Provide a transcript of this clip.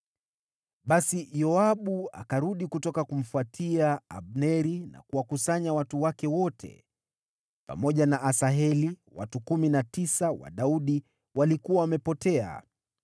Basi Yoabu akarudi kutoka kumfuatia Abneri, na kuwakusanya watu wake wote. Pamoja na Asaheli, watu kumi na tisa wa Daudi walikuwa wamepotea.